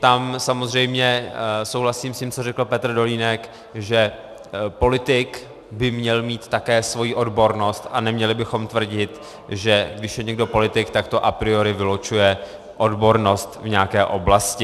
Tam samozřejmě souhlasím s tím, co řekl Petr Dolínek, že politik by měl být také svoji odbornost a neměli bychom tvrdit, že když je někdo politik, tak to a priori vylučuje odbornost v nějaké oblasti.